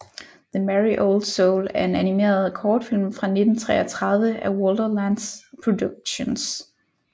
The Merry Old Soul er en animeret kortfilm fra 1933 af Walter Lantz Productions